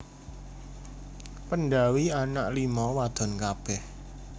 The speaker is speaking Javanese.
Pendhawi anak lima wadon kabeh